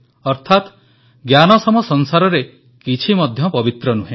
ଅର୍ଥାତ ଜ୍ଞାନ ସମ ସଂସାରରେ କିଛି ମଧ୍ୟ ପବିତ୍ର ନୁହେଁ